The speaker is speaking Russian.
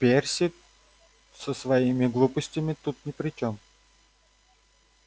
перси со своими глупостями тут ни при чём